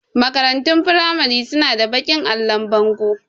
Makarantun firamari su na da baƙin allon bango